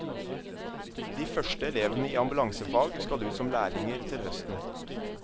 De første elevene i ambulansefag skal ut som lærlinger til høsten.